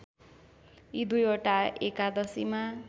यी दुईवटा एकादशीमा